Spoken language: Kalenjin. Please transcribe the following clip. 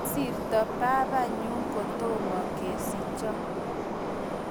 Kisirto babanyu kotomo kesicho